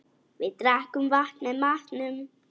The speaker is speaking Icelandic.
Við drekkum vatn með matnum.